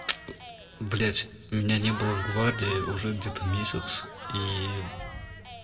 блядь меня не было в гвардии уже где-то месяц и